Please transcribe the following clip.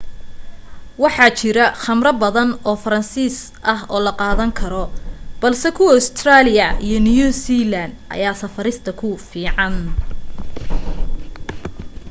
waxa jira khamro faransiis badan oo la qaadan karo balse kuwa ustareeliya iyo new zealand ayaa safarista ku fiican